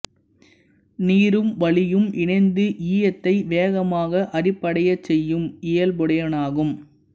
நீரும் வளியும் இணைந்து ஈயத்தை வேகமாக அரிப்படையச் செய்யும் இயல்புடையனவாகும்